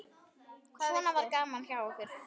Svona var gaman hjá okkur.